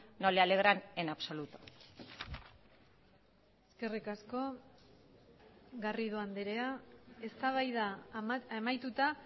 no le alegran en absoluto eskerrik asko garrido andrea eztabaida amaituta